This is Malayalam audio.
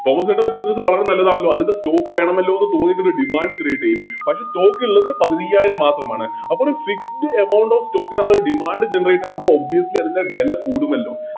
തോമാസേട്ടൻറെ Business വളരെ നല്ലതാണല്ലോ അതിൻറെ Stock വേണമല്ലോ തോന്നി Demand create ചെയ്യും പക്ഷെ Stock ഇള്ളത് പതിനയ്യായിരം മാത്രമാണ് അപ്പോര് Fixed amount of stock അത്രേം Demand generate ആകുമ്പോ Obviously അതിൻറെ വെല കൂട്ടുമല്ലോ